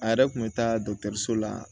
A yɛrɛ kun bɛ taa la